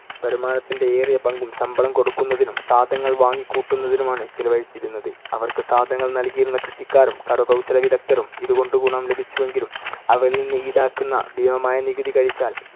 വരുമാനത്തിന്‍ടെ ഏറിയ പങ്കും ശമ്പളം കൊടുക്കുന്നതിനും സാധനങ്ങൾ വാങ്ങിക്കൂട്ടുന്നതിനുമാണ്‌ ചെലവഴിച്ചിരുന്നത്. അവർക്ക് സാധനങ്ങൾ നൽകിയിരുന്ന കൃഷിക്കാരും കരകൗശലവിദഗ്ദ്ധരും ഇതു കൊണ്ട് ഗുണം ലഭിച്ചുവെങ്കിലും അവരിൽ നിന്ന് ഈടാക്കുന്ന ഭീമമായ നികുതി കിഴിച്ചാൽ